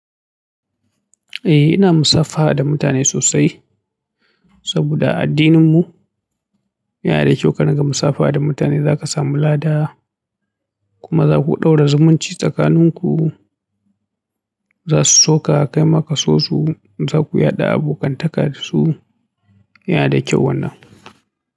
Eh ina musafaha da mutane sosai, saboda addininmu yana da ƙyau ka ringa musafaha da mutane zaka samu lada. Kuma zaku ɗaura zumunci tsakaninku, zasu soka kai maka soso, zaku yada abokantaka dasu, yana da ƙyau wannan.